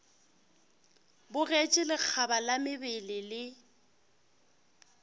bogetše lekgaba la mabele le